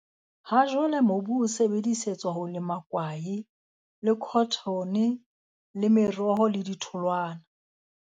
Ha jwale mobu o sebedisetswa ho lema kwae, le khothone le meroho le ditholwana.